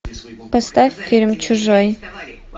поставь фильм чужой